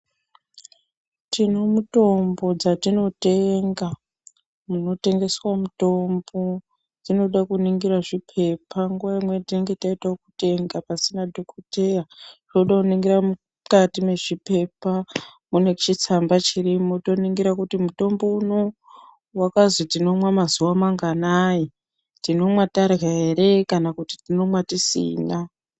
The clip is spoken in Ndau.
Tine mitombo dzatinotenga munotengeswa mutombo dzinode kuningira zvipepa nguwa imweni tinonga taite wekutenga pasina dhokodheya tode kuningira mukati mwezvipepa mune chitsamba chirimo toningira kuti mutombo unou akazi tinomwa mazuwa manganayi, tinomwa tarya ere kana tinomwa tisina?